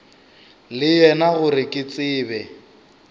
le yena gore ke tsebe